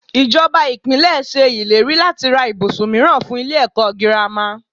Ìjọba Ìpínlẹ̀ ṣe ìlérí láti ra ibùsùn mìíràn fún ilé ẹ̀kọ́ girama.